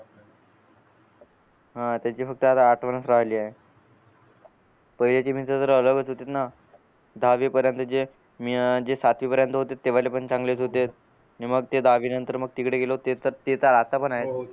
हा त्याची फक्त आता आठवणच राहिले दहावी पर्यंत जे अं सातवी पर्यंत ते वाले पण चांगलेच होतेच आणि मग ते दहावी नंतर तिकडे गेलो तर ते तर ते तर आता पण ये